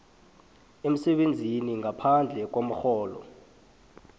emsebenzini ngaphandle komrholo